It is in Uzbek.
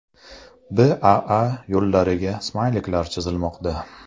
BAA yo‘llariga smayliklar chizilmoqda.